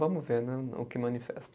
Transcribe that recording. Vamos ver né, o que manifesta.